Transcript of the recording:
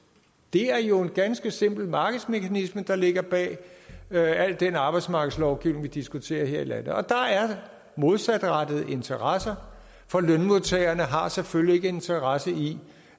det er jo en ganske simpel markedsmekanisme der ligger bag al den arbejdsmarkedslovgivning vi diskuterer her i landet og der er modsatrettede interesser for lønmodtagerne har selvfølgelig ikke en interesse i